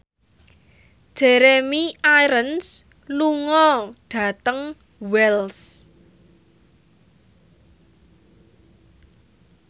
Jeremy Irons lunga dhateng Wells